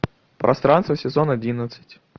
пространство сезон одиннадцать